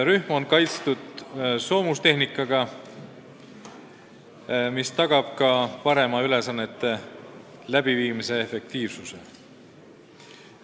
Rühm on kaitstud soomustehnikaga, mis tagab ka suurema ülesannete läbiviimise efektiivsuse.